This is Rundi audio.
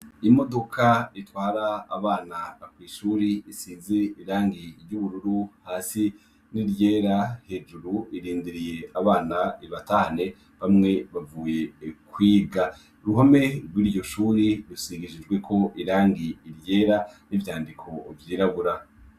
Imudoka itwara abana kw'ishuri isize irangi ry'ubururu hasi n'iryera hejuru irindiriye abana ibatahane bamwe bavuye kwiga, kuruhome rw'iryo shuri rusigishijweko irangi iryera n'ivyandiko vyirabura.